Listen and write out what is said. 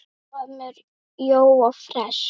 Hvað með Jóa fress?